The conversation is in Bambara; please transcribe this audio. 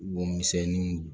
Womisɛnninw